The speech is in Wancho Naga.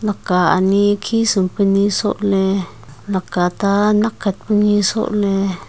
laka ani khisumpa ni sohley laka ta nak khat ka ni sohley.